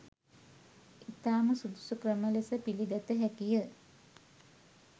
ඉතාම සුදුසු ක්‍රම ලෙස පිළිගත හැකිය.